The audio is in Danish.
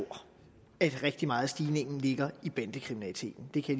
at rigtig meget af stigningen ligger i bandekriminaliteten det kan